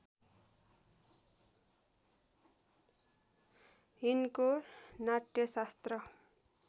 यिनको नाट्यशास्त्र